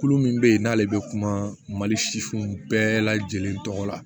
Kulu min bɛ yen n'ale bɛ kuma mali sifinw bɛɛ lajɛlen tɔgɔ la